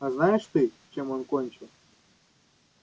а знаешь ты чем он кончил